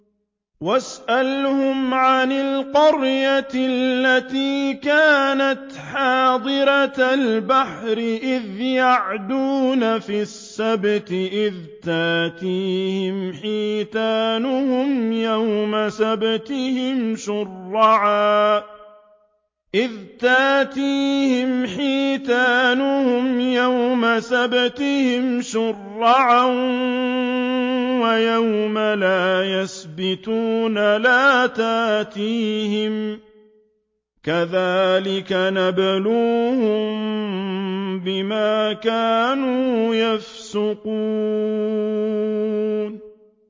وَاسْأَلْهُمْ عَنِ الْقَرْيَةِ الَّتِي كَانَتْ حَاضِرَةَ الْبَحْرِ إِذْ يَعْدُونَ فِي السَّبْتِ إِذْ تَأْتِيهِمْ حِيتَانُهُمْ يَوْمَ سَبْتِهِمْ شُرَّعًا وَيَوْمَ لَا يَسْبِتُونَ ۙ لَا تَأْتِيهِمْ ۚ كَذَٰلِكَ نَبْلُوهُم بِمَا كَانُوا يَفْسُقُونَ